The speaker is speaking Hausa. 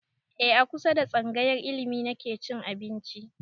E a kusa da tsangayar ilimi nake cin abinci